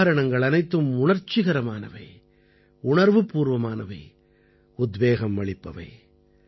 இந்த உதாரணங்கள் அனைத்தும் உணர்ச்சிகரமானவை உணர்வுப்பூர்வமானவை உத்வேகம் அளிப்பவை